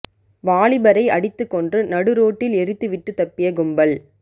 வாலிபரை அடித்து கொன்று நடு ரோட்டில் எரித்து விட்டு தப்பிய கும்பல்